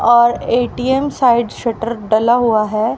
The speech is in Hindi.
और ए_टी_एम साइड शटर डाला हुआ है।